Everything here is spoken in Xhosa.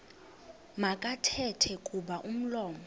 makathethe kuba umlomo